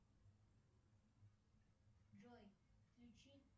джой включи